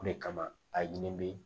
O de kama a ɲini be